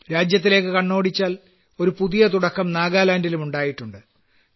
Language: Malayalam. രാഷ്ട്രീയത്തിലേയ്ക്ക് കണ്ണോടിച്ചാൽ ഒരു പുതിയ തുടക്കം നാഗാലാൻഡിലും ഉണ്ടായിട്ടുണ്ട്